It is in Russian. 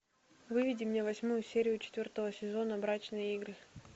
выведи мне восьмую серию четвертого сезона брачные игры